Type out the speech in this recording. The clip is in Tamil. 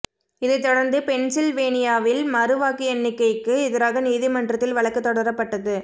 இதைத் தொடர்ந்து பென்சில் வேனியாவில் மறு வாக்கு எண்ணிக்கைக்கு எதிராக நீதிமன்றத்தில் வழக்கு தொடரப்பட்டது